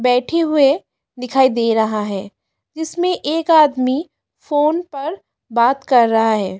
बैठे हुए दिखाई दे रहा है जिसमें एक आदमी फोन पर बात कर रहा है।